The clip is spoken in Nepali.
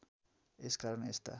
यस कारण यस्ता